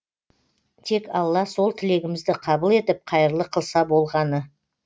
тек алла сол тілегімізді қабыл етіп қайырлы қылса болғаны